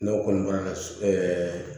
N'o kɔni bɔra ka su